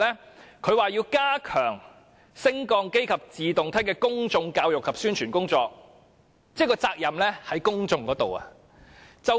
政府說要加強升降機及自動梯的公眾教育及宣傳工作，即責任在公眾身上。